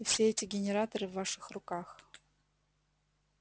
и все эти генераторы в ваших руках